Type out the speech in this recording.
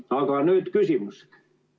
Aga nüüd küsimus.